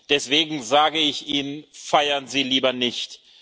auch. Deswegen sage ich Ihnen Feiern Sie lieber